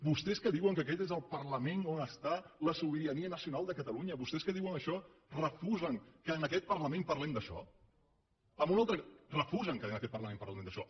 vostès que diuen que aquest és el parlament on hi ha la sobirania nacional de catalunya vostès que diuen això refusen que en aquest parlament parlem d’això refusen que en aquest parlament parlem d’això